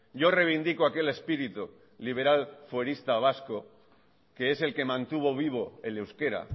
yo reivindico aquí el espíritu liberal fuerista vasco que es el que mantuvo vivo el euskera